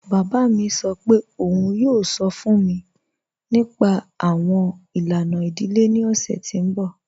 Baba mi sọ́ pẹ̀ ọ̀un yoo sọ́ fun mi nípa awọn ilana idílé ni ọ̀ṣẹ̀ ti n bọ́.